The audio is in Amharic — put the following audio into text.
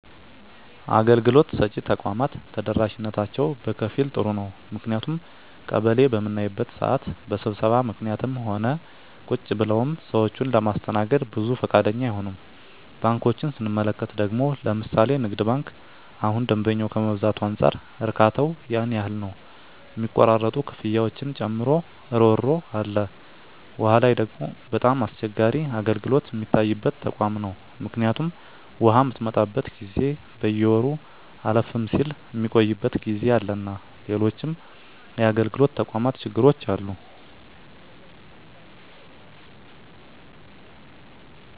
አገልግሎት ሰጭ ተቋማት ተደራሽነታቸው በከፊል ጥሩ ነው ምክንያቱም ቀበሌ በምናይበት ስዓት በስብሰባ ምክኒትም ሆነ ቁጭ ብለውም ሰዎችን ለማስተናገድ ብዙ ፈቃደኛ አይሆኑም። ባንኮችን ስንመለከት ደግሞ ለምሣሌ ንግድ ባንክ እሁን ደንበኛ ከመብዛቱ አንፃር እርካታው ያን ያህል ነው ሚቆራረጡ ክፍያዎችን ጨምሮ እሮሮ አለ። ዉሃ ላይ ደግሞ በጣም አስቸጋሪ አገልግሎት ሚታይበት ተቋም ነው ምክኒቱም ውሃ ምትመጣበት ጊዜ በየወሩ አለፍም ስል ሚቆይበት ጊዜ አለና ሎሎችም የአገልግሎት ተቋማት ችግሮች አሉ።